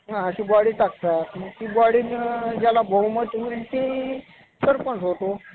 महाराष्ट्राचे कुलदैवत म्हणतात. हे विठ्ठल मंदिर अवघ्या महाराष्ट्राची एक चिरंतन स्फूर्तिस्थान आहे. गोरगरीबांचा देव म्हणून